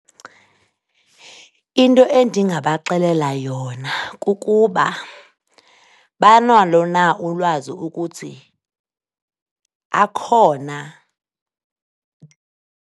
Into endingabaxelela yona kukuba banalo na ulwazi ukuthi akhona?